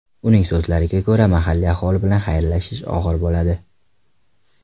Uning so‘zlariga ko‘ra, mahalliy aholi bilan xayrlashish og‘ir bo‘ladi.